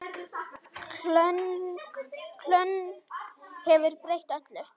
Köln hefur breytt öllu.